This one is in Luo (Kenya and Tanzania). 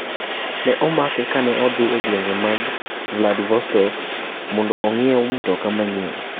Ne omake kane odhi e gweng ma Vladivostok mondo ong'iew mtoka manyien.